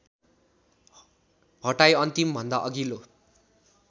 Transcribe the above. हटाई अन्तिमभन्दा अघिल्लो